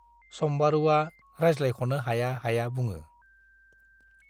सम्बारुवा रायज्लायख'नो हाया हाया बुङो।